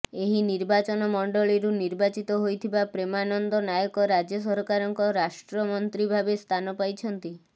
ଏହି ନିର୍ବାଚନ ମଣ୍ଡଳୀରୁ ନିର୍ବାଚିତ ହୋଇଥିବା ପ୍ରେମାନନ୍ଦ ନାୟକ ରାଜ୍ୟ ସରକାରଙ୍କ ରାଷ୍ଟ୍ରମନ୍ତ୍ରୀ ଭାବେ ସ୍ଥାନ ପାଇଛନ୍ତି